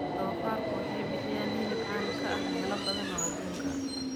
Doofaarku waxay bixiyaan hilib caan ka ah meelo badan oo adduunka ah.